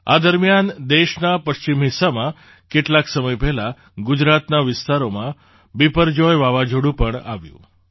આ દરમિયાન દેશના પશ્ચિમ હિસ્સામાં કેટલાક સમય પહેલાં ગુજરાતના વિસ્તારોમાં બિપરજોય વાવાઝોડું પણ આવ્યું